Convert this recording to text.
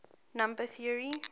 number theory